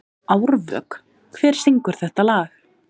Árvök, hver syngur þetta lag?